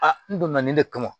A n donna nin ne kama